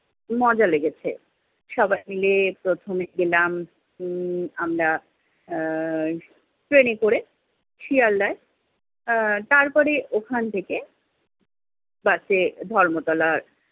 মজা লেগেছে। সবাই মিলে প্রথমে গেলাম উম আমরা, আহ ট্রেনে করে শিয়ালদায়। আহ তারপরে ওখান থেকে বাসে ধর্মতলা